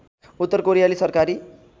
उत्तर कोरियली सरकारी